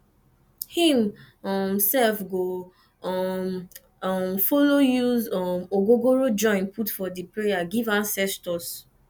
him um sef go um um follow use um ogogoro join put for di prayer giv ancestors